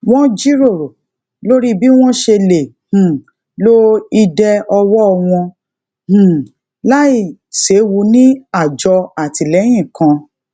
won jíròrò lórí bí won ṣe lè um lo ìdè owo wọn um lai sewu ni ajo atinilẹyin kan